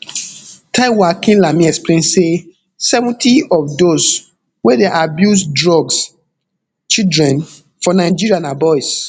taiwo akinlami explain say seventy of dose wey dey abuse drugs children for nigeria na boys